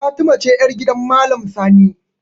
Fatima ce yar gidan maalam sani